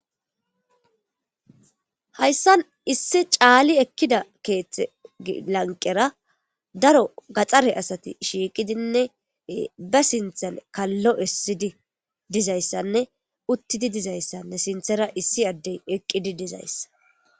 Hayssan issi caali ekkida keethte lanqera daro gaxxare asati shiiqidinne ba sinthan kallo issidi dizayssanne uttidi dizayssanne sinthera issi addey eqqidi dizayssa.